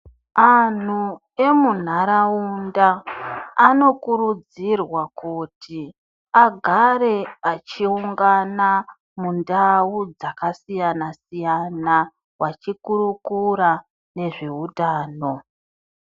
Antu emunharaunda anokurudzirwa kuti agare achiungana mundau dzakasiyana siyana vachikurukura nezveutano.